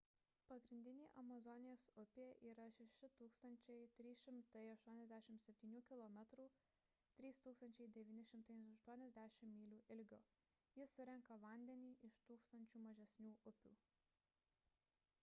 pagrindinė amazonės upė yra 6 387 km 3 980 mylių ilgio. ji surenka vandenį iš tūkstančių mažesnių upių